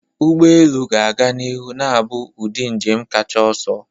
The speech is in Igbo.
Ụgbọ elu ga-aga n'ihu na-abụ ụdị njem kacha ọsọ.